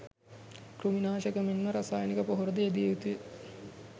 කෘමි නාශක මෙන්ම රසායනික පොහොර ද යෙදිය යුතුය.